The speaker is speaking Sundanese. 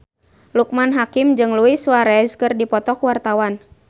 Loekman Hakim jeung Luis Suarez keur dipoto ku wartawan